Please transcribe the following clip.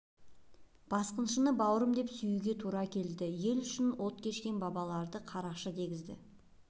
басқыншыны бауырым деп сүюге тура келді ел үшін от кешкен бабаларды қарақшы дегізді